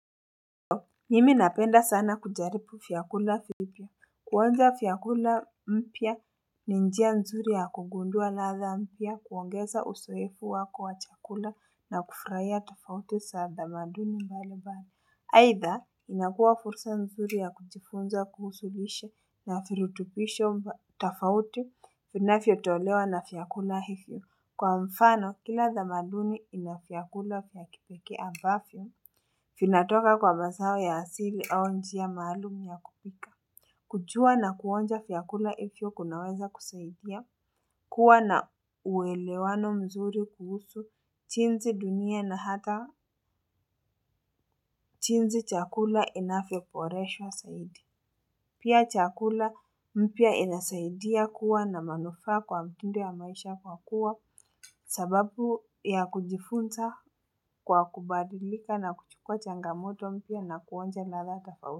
Mimi napenda sana kujaribu vyakula hivyo. Kuonja vyakula mpya ni njia mzuri ya kugundua ladha mpya kuongeza uzoefu wako wa chakula na kufurahia tafauti za tamaduni mbali bali. Haitha, inakuwa fursa mzuri ya kujifunza kuhusu lishe na virutubisho tafauti vinavyotolewa na vyakula hivyo. Kwa mfano, kila tamaduni inavyakula vya kipeke ambavyo. Vinatoka kwa mazao ya asili au njia maalum ya kupika. Kujua na kuonja vyakula hivyo vinaweza kusaidia kuwa na uwelewano mzuri kuhusu jinzi dunia na hata jinzi chakula inavyoboreshwa zaidi. Pia chakula mpya inasaidia kuwa na manufaa kwa mtindo wa maisha kwa kuwa sababu ya kujifunza kwa kubadilika na kuchukwa changamoto mpya na kuonja latha.